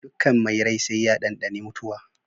Dukkan mai rai sai ya ɗanɗani mutuwa.